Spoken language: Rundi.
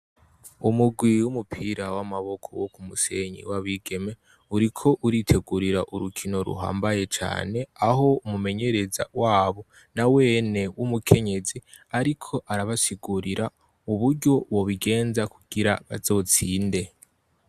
Umugwi w'umupira w'amaboko wo ku Musenyi, w' abigeme uriko uritegurira urukino ruhambaye cane, aho umumenyereza wabo nawene w'umukenyezi ariko arabasigurira uburyo bobigenza kugira bazotsinde.